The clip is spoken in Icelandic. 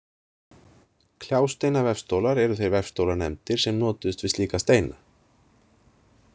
Kljásteinavefstólar eru þeir vefstólar nefndir sem notuðust við slíka steina.